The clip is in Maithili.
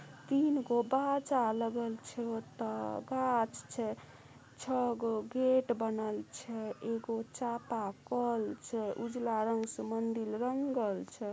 तीन गो बाजा लगल छै ओता गाछ छै | छह को गेट बनल छै एक को चापाकल छै उजाला रंग स मंदिर रंगल छै|